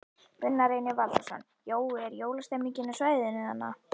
Gunnar Reynir Valþórsson: Jói, er jólastemmning á svæðinu þarna?